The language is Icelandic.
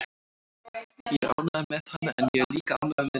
Ég er ánægður með hann en ég er líka ánægður með liðið.